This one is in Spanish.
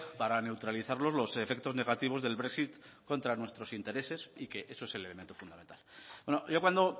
para neutralizar los efectos negativos del brexit contra nuestros intereses y que eso es el elemento fundamental bueno yo cuando